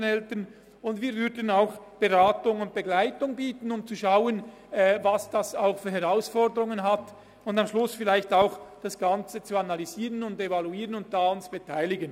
Wir würden auch Beratung und Begleitung anbieten, um zu schauen, welche Herausforderungen bestehen, und um am Schluss das Ganze zu analysieren, zu evaluieren und uns zu beteiligen.